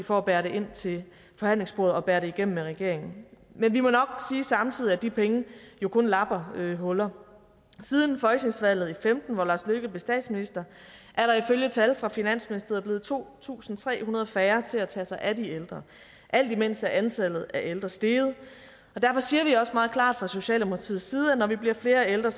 for at bære det ind til forhandlingsbordet og bære det igennem med regeringen men vi må nok sige samtidig at de penge jo kun lapper huller siden folketingsvalget i og femten hvor lars løkke rasmussen blev statsminister er der ifølge tal fra finansministeriet blevet to tusind tre hundrede færre til at tage sig af de ældre alt imens er antallet af ældre steget og derfor siger vi også meget klart fra socialdemokratiets side at når vi bliver flere ældre